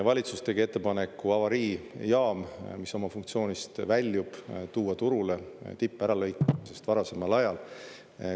Valitsus tegi ettepaneku avariijaam, mis oma funktsioonist väljub, tuua turule ….. varasemal ajal.